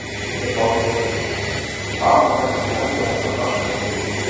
Heimir Már Pétursson: Hvað mun þetta tefja þessar framkvæmdir mikið?